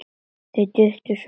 Þau duttu svo oft af.